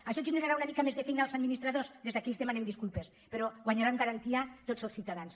això generarà una mica més de feina als administradors des d’aquí els demanem disculpes però guanyaran garantia tots els ciutadans